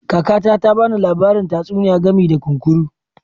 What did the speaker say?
Kakata ta ba ni labarin tatsuniya game da kunkuru.